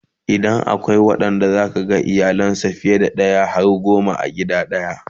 inda akwai Wanda zaka ga iyali fiye da daya wani har goma a gida daya